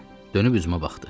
Dönüb üzümə baxdı.